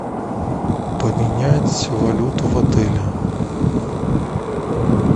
поменять валюту в отеле